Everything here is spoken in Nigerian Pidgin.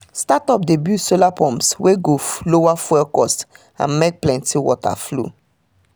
startup dey build solar pumps wey go lower fuel cost and make plenty water flow